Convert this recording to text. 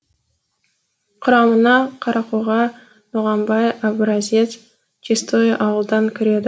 құрамына қарақоға ноғанбай образец чистое ауылдан кіреді